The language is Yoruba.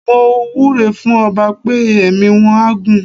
Mo wúre fún ọba pé ẹ̀mí wọ́n á gún.